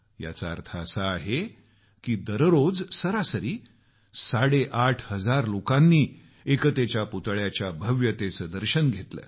याचा अर्थ असा आहे की दररोज सरासरी साडेआठ हजार लोकांनी एकतेच्या पुतळ्याच्या भव्यतेचं दर्शन घेतल